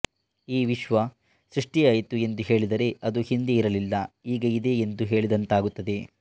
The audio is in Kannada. ಈ ವಿಶ್ವ ಸೃಷ್ಟಿಯಾಯಿತು ಎಂದು ಹೇಳಿದರೆ ಅದು ಹಿಂದೆ ಇರಲಿಲ್ಲ ಈಗ ಇದೆ ಎಂದು ಹೇಳಿದಂತಾಗುತ್ತದೆ